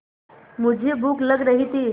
मुझे भूख लग रही थी